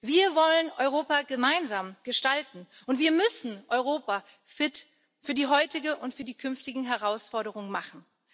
Wir wollen Europa gemeinsam gestalten, und wir müssen Europa fit für die heutige und für die künftigen Herausforderungen machen.